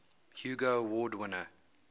hugo award winner